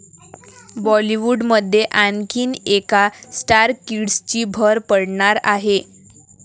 बॉलिवूडमध्ये आणखीन एका स्टार किड्सची भर पडणार आहे.